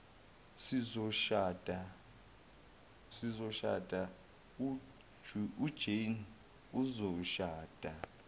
sizoshada ujanie uzoshada